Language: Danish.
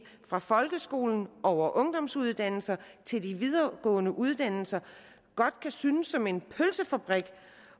fra folkeskole over ungdomsuddannelser til de videregående uddannelser godt kan synes som en pølsefabrik